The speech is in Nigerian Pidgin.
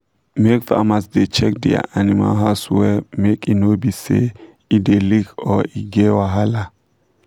make farmers da check dia animal house wella make e no be say e da leak or e get wahala